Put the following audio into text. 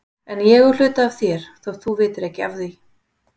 En ég á hluta af þér þótt þú vitir ekki af því.